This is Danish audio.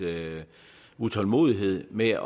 utålmodighed med